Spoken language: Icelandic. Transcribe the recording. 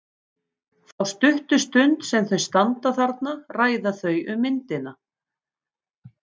Þá stuttu stund sem þau standa þarna ræða þau um myndina.